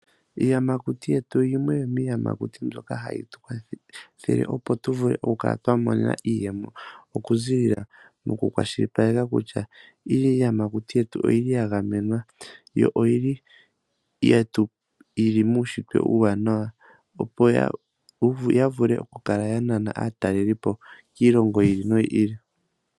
Iiyamakuti yetu oyimwe yomiiyamakuti mbyoka hayi tu kwathele opo tu vule oku kala twa mona iiyemo moku kwashilipaleka kutya iiyamakuti yetu oyili ya gamwenwa, yo oyili muushitwe uuwanana, opo yi vule oku kala ya nana aatalelipo kiilongo yi ili no yi ili.